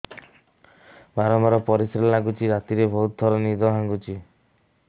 ବାରମ୍ବାର ପରିଶ୍ରା ଲାଗୁଚି ରାତିରେ ବହୁତ ଥର ନିଦ ଭାଙ୍ଗୁଛି